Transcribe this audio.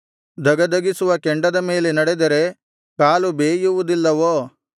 ಧಗಧಗಿಸುವ ಕೆಂಡದ ಮೇಲೆ ನಡೆದರೆ ಕಾಲು ಬೇಯುವುದಿಲ್ಲವೋ